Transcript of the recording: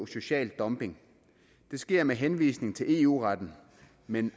social dumping det sker med henvisning til eu retten men